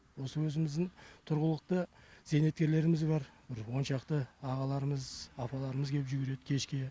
осы өзіміздің тұрғылықты зейнеткерлеріміз бар бір он шақты ағаларымыз апаларымыз кеп жүгіреді кешке